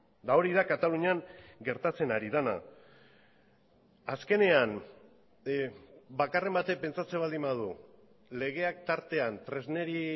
eta hori da katalunian gertatzen ari dena azkenean bakarren batek pentsatzen baldin badu legeak tartean tresneri